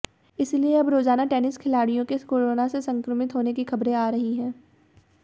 इसीलिए अब रोजोना टेनिस खिलाड़ियों के कोरोना से संक्रमित होने की खबरें आ रही हैं